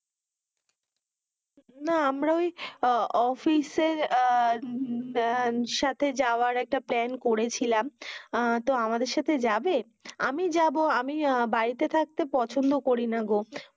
না আমরা ওই অফিসার আহ সাথে যাওয়ার একটা প্ল্যান করেছিলাম আহ তো আমাদের সাথে যাবে? আমি যাবো আমি বাড়িতে থাকতে পছন্দ করি না গো